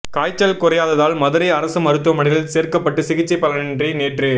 காய்ச்சல் குறையாததால் மதுரை அரசு மருத்துவமனையில் சேர்க்கப்பட்டு சிகிச்சை பலனின்றி நேற்று